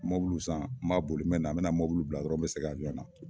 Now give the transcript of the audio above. Mobilu san n ba boli n bena a bena mobilu bila dɔrɔn n be segin abiyɔn na